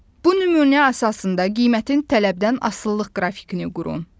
Bu nümunə əsasında qiymətin tələbdən asılılıq qrafikini qurun.